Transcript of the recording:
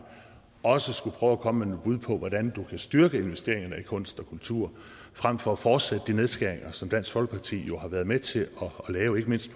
også skulle prøve at komme med nogle bud på hvordan du kan styrke investeringerne i kunst og kultur frem for at fortsætte de nedskæringer som dansk folkeparti jo har været med til at lave ikke mindst